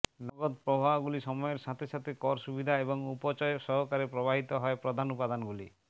নগদ প্রবাহগুলি সময়ের সাথে সাথে কর সুবিধা এবং উপচয় সহকারে প্রবাহিত হয় প্রধান উপাদানগুলি